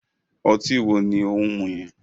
Ọtí wo ni òun mú yẹn?